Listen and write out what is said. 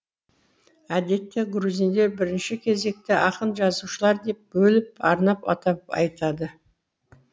әдетте грузиндер бірінші кезекте ақын жазушылар деп бөліп арнап атап айтады